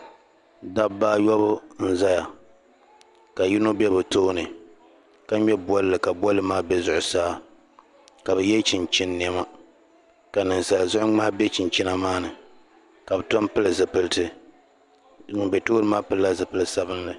dabaa atyɔbu n-zeya ka yino be bɛ tooni ka ŋme bolli ka bolli maa be zuɣusaa ka bɛ ye chinchini niɛma ka ninsala zuɣu ŋmahi be chinchini maa ni ka bɛ tom pili zupiliti ŋun m-be tooni maa pili la zupil'sabinlli